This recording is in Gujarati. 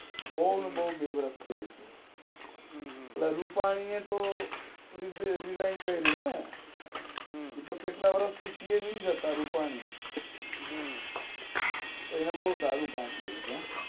બોવ ને બોવ આવી છે ઓલ રૂપાની એ તો રિઝાઈન કરું ને એ તો કેટલાય વર્ષ થી શ્યિએમ એજ હતા રૂપની એમને બોવ સારું કામ કરું છે હો